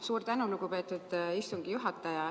Suur tänu, lugupeetud istungi juhataja!